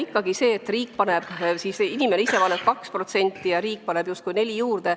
Ikkagi see tõsiasi, et inimene ise panustab 2% ja riik paneb justkui 4% juurde.